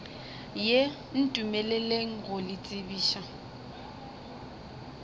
ye ntumeleleng go le tsebiša